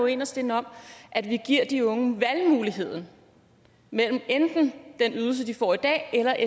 inderst inde om at vi giver de unge valgmuligheden mellem enten den ydelse de får i dag eller